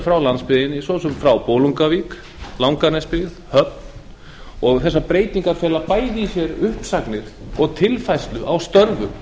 frá landsbyggðinni svo sem frá bolungarvík langanesi höfn og þessar breytingar fela bæði í sér uppsagnir og tilfærslu á störfum